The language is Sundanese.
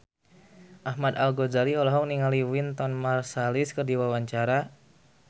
Ahmad Al-Ghazali olohok ningali Wynton Marsalis keur diwawancara